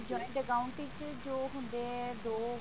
joint account ਵਿੱਚ ਜੋ ਹੁੰਦੇ ਨੇ ਜੋ